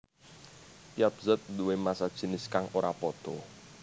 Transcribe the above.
Tiap zat duwé massa jinis kang ora pada